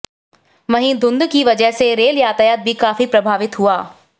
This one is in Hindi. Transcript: वहीं धुंध की वजह से रेल यातायात भी काफी प्रभावित हुआ